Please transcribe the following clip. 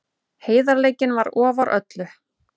Heiðarleikinn var ofar öllu.